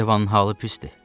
Yevanın halı pisdir.